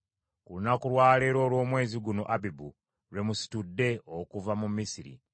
Ku lunaku lwa leero olw’omwezi guno Abibu, lwe musitudde okuva mu Misiri.